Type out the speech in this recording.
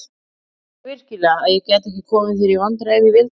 Heldurðu virkilega að ég gæti ekki komið þér í vandræði ef ég vildi?